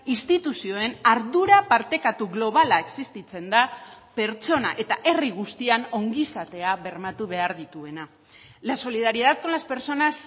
instituzioen ardura partekatu globala existitzen da pertsona eta herri guztian ongizatea bermatu behar dituena la solidaridad con las personas